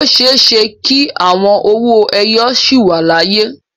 O ṣeé ṣe kí àwọn owó ẹyọ sì wà láyé.